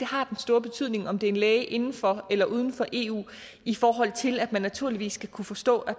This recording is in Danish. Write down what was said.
har den store betydning om det er en læge inden for eller uden for eu i forhold til at man naturligvis skal kunne forstå